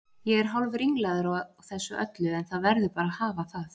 Ég er hálfringlaður á þessu öllu en það verður bara að hafa það.